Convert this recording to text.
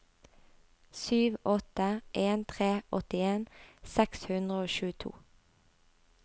sju åtte en tre åttien seks hundre og tjueto